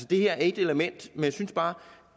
det her er ét element men jeg synes bare